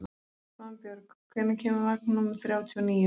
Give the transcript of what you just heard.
Svanbjörg, hvenær kemur vagn númer þrjátíu og níu?